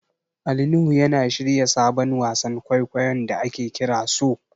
Ali Nuhu yana shirya sabon wasan kwaikwayon da ake kira So.